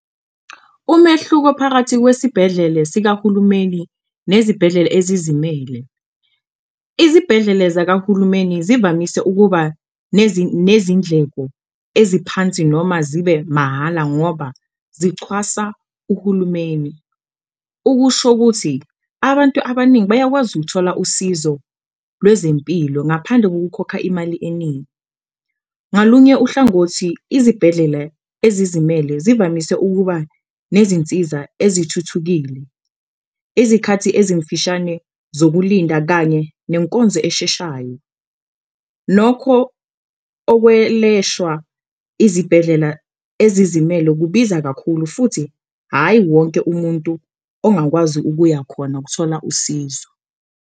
Umehluko phakathi kwesibhedlele sikahulumeni nezibhedlele ezizimele, izibhedlele zakahulumeni zivamise ukuba nezindleko eziphansi noma zibe mahhala ngoba zixhwasa uhulumeni, ukusho ukuthi abantu abaningi bayakwazi ukuthola usizo lwezempilo ngaphandle kokukhokha imali eningi. Ngalunye uhlangothi izibhedlele ezizimele zivamise ukuba nezinsiza ezithuthukile, izikhathi ezimfishane zokulinda kanye nenkonzo esheshayo, nokho okweleshwa izibhedlela ezizimele kubiza kakhulu futhi hhayi wonke umuntu ongakwazi ukuya khona ukuthola usizo.